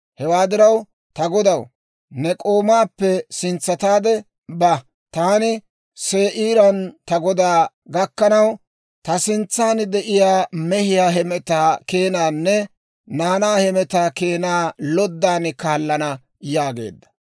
Hewaa diraw, ta godaw, ne k'oomaappe sintsataade ba; taani Se'iiran ta godaa gakkanaw, ta sintsaan de'iyaa mehiyaa hemetaa keenaanne naanaa hemetaa keenaa loddan kaallana» yaageedda.